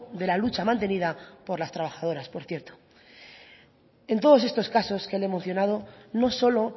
de la lucha mantenida por las trabajadoras por cierto en todos estos casos que le he mencionado no solo